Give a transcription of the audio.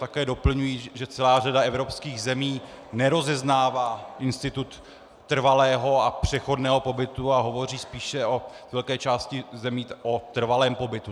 Také doplňuji, že celá řada evropských zemí nerozeznává institut trvalého a přechodného pobytu a hovoří spíše ve velké části zemí o trvalém pobytu.